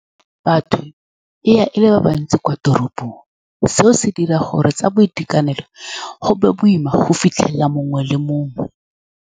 Batho e ya e le ba bantsi kwa toropong. Seo se dira gore tsa boitekanelo go be boima go fitlhelela mongwe le mongwe.